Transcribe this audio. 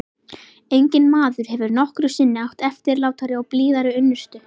Enginn maður hefur nokkru sinni átt eftirlátari og blíðari unnustu.